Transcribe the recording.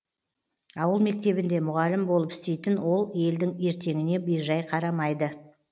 ауыл мектебінде мұғалім болып істейтін ол елдің ертеңіне бейжай қарамайды